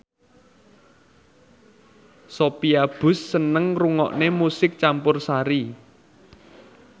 Sophia Bush seneng ngrungokne musik campursari